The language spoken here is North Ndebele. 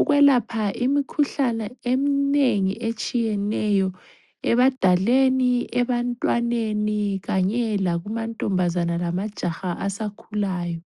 ukwelapha imikhuhlane eminengi etshiyeneyo ebadaleni, ebantwaneni kanye lakumantombazana lamajaha asakhulayo.